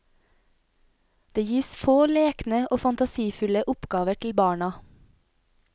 Det gis få lekne og fantasifulle oppgaver til barna.